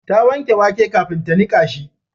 Ta wanke wake kafin ta nika shi